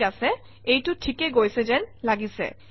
ঠিক আছে এইটো ঠিকে গৈছে যেন লাগিছে